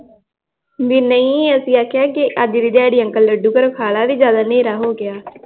ਨਈ ਅਸੀਂ ਆਖਿਆ ਅੱਜ ਦੀ ਦਿਹਾੜੀ ਅੰਕਲ ਘਰੋਂ ਖਾ ਲੈ ਜਿਆਦਾ ਨੇਰਾ ਹੋ ਗਿਆ l